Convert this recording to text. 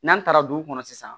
N'an taara dugu kɔnɔ sisan